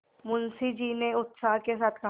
मुंशी जी ने उत्साह के साथ कहा